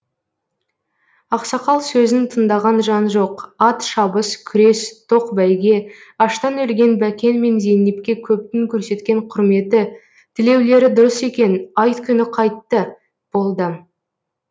ақсақал сөзін тыңдаған жан жоқ ат шабыс күрес тоқ бәйге аштан өлген бәкен мен зейнепке көптің көрсеткен құрметі тілеулері дұрыс екен айт күні қайтты болды